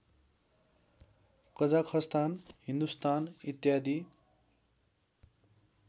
कजाखस्तान हिन्दुस्तान इत्यादि